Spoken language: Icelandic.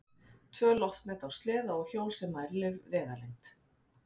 Tvö loftnet á sleða og hjól sem mælir vegalengd.